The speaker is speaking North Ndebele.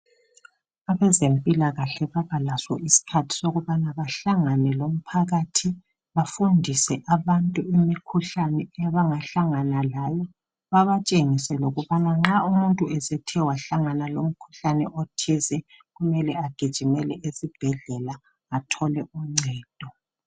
Abezempikahle babalaso isikhathi sokubana bahlangane lomphakathi bafundise abantu imikhuhlane abangahlangana layo, babatshengise lokubana nxa umuntu esethe wahlangana lomkhuhlane othize kumele agijimele esibhedlela athole uncedo.